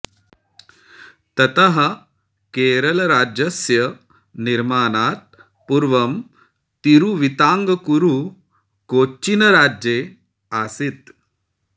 ततः केरलराज्यस्य निर्माणात् पूर्वं तिरुविताङ्कूरु कोच्चिन् राज्ये आसीत्